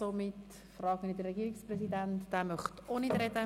Somit frage ich den Herrn Regierungspräsidenten, ob er etwas sagen will.